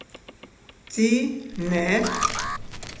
Ti ne?